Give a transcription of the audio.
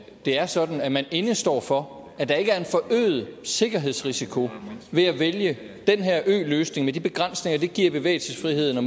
det er sådan at man indestår for at der ikke er en forøget sikkerhedsrisiko ved at vælge den her øløsning med de begrænsninger det giver i bevægelsesfriheden og